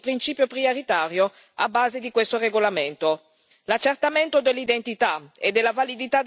Il rispetto del diritto resta tuttavia per noi il principio prioritario a base di questo regolamento.